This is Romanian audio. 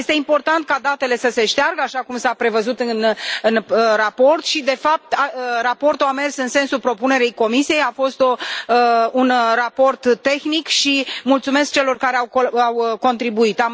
Este important ca datele să se șteargă, așa cum s a prevăzut în raport și, de fapt, raportul a mers în sensul propunerii Comisiei, a fost un raport tehnic și mulțumesc celor care au contribuit.